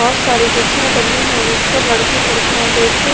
बहुत सारी कुर्सियां डली है जिस पर लड़के लड़कियां बैठे।